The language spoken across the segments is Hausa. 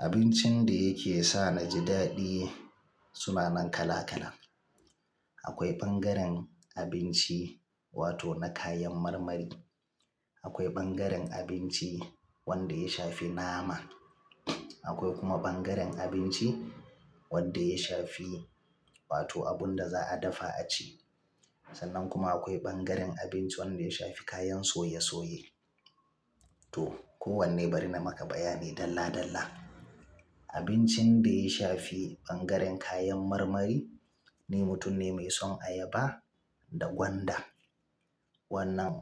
Abincin da yake sa a ji daɗi suna nan kala kala. Akwai ɓangaren abinci wato na kayan marmari, akwai ɓangaren abinci wanda ya shafi nama, akwai kuma ɓangaren abinci wanda ya shafi wato abun da za a dafa a ci. Sannan kuma akwai ɓangaren abinci wanda ya shafi kayan soye soye. To, kowanne bari na maka bayani dalla dalla. Abincin da ya shafi ɓangaren kayan marmari, ni mutum ne mai son ayaba da gwanda. Wannan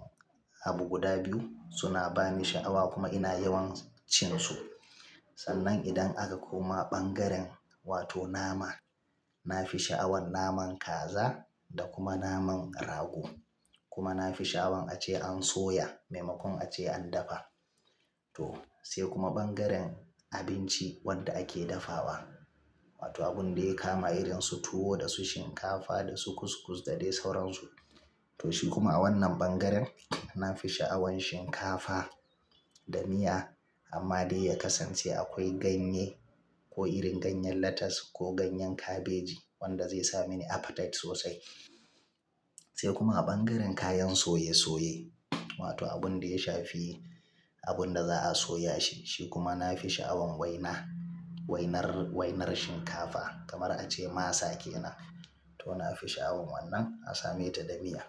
abu guda biyu suna ba ni sha'awa kuma ina yawan cin su. Sannan idan aka koma ɓangaren wato nama, na fi sha'awan naman kaza da kuma naman rago. Kuma na fi sha'awan ace an soya maimakon ace an dafa. To, sai kuma ɓangaren abinci wanda ake dafawa wato abun da ya kama irin su tuwo da su shinkafa da su kuskus da dai sauransu. To shi kuma a wannan ɓangaren na fi sha'awan shinkafa da miya amma dai ya kasance akwai ganye ko irin ganyen lattas ko ganyen kabeji wanda zai sa mini appetite sosai. Sai kuma a ɓangaren kayan soye soye wato abun da ya shafi abun da za a soya shi, shi kuma na fi sha'awan waina, wainar, wainar shinkafa kamar ace masa ke nan. To na fi sha'awan wannan a same ta da miya.